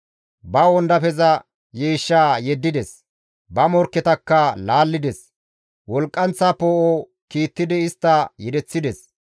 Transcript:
Ba wondafeza yiishshaa yeddides; ba morkketakka laallides; wolqqanththa poo7o kiittidi istta yedeththides.